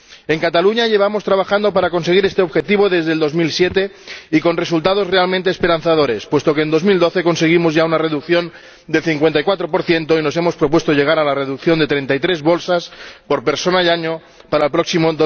En Cataluña llevamos trabajando para conseguir este objetivo desde 2007, con resultados realmente esperanzadores, pues en 2012 conseguimos ya una reducción del 54 y nos hemos propuesto llegar a la reducción de 33 bolsas por persona y año para el próximo